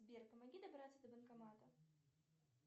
сбер помоги добраться до банкомата